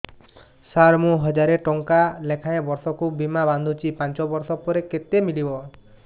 ସାର ମୁଁ ହଜାରେ ଟଂକା ଲେଖାଏଁ ବର୍ଷକୁ ବୀମା ବାଂଧୁଛି ପାଞ୍ଚ ବର୍ଷ ପରେ କେତେ ମିଳିବ